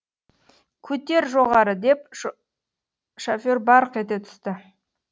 көтер жоғары деп шофер барқ ете түсті